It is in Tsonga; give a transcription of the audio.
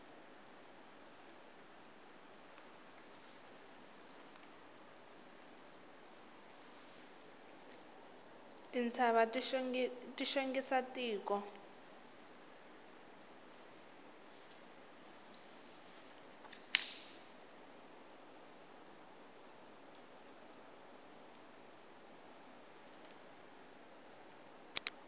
tintshava ti xongisa tiko